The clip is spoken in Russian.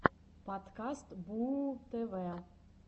подкаст бууу тв